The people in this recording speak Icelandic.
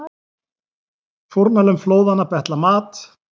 Fórnarlömb flóðanna betla mat